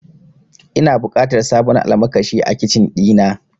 Ina buƙatar sabon almakashi a Kicin ɗina.